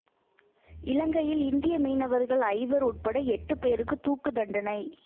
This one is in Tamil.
இலங்கையில் இந்திய மீனவர்கள் ஐவர் உட்பட எட்டு பேருக்கு தூக்குத் தண்டனை